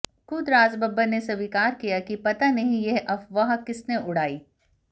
खुद राज बब्बर ने स्वीकार किया कि पता नहीं यह अफवाह किसने उड़ाई